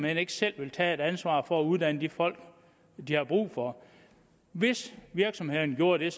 ikke selv vil tage et ansvar for at uddanne de folk de har brug for hvis virksomhederne gjorde det